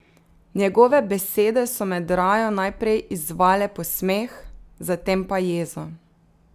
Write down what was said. Njegove besede so med rajo najprej izzvale posmeh, zatem pa jezo.